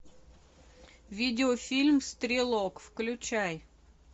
видеофильм стрелок включай